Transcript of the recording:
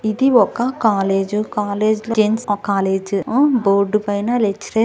ఆ ఇది ఒక కాలేజ్ కాలేజ్ లో జెంట్స్ కాలేజ్ .బోర్డ్ పైన--